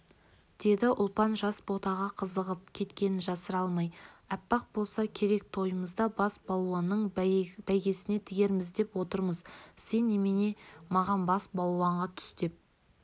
деді ұлпан жас ботаға қызығып кеткенін жасыра алмай аппақ болса керек тойымызда бас балуанның бәйгесіне тігерміз деп отырмыз сен немене маған бас балуанға түс деп